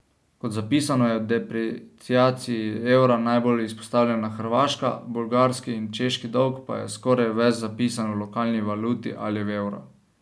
Kot zapisano, je depreciaciji evra najbolj izpostavljena Hrvaška, bolgarski in češki dolg pa je skoraj ves zapisan v lokalni valuti ali v evru.